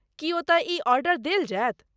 की, ओतय ई आर्डर देल जायत।